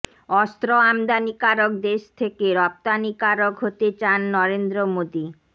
অস্ত্র আমদানিকারক দেশ থেকে রফতানিকারক হতে চান নরেন্দ্র মোদী